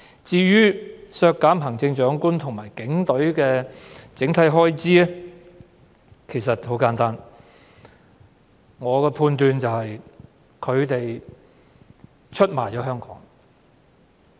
至於削減行政長官和警隊的整體預算開支的原因很簡單：我認為他們出賣了香港。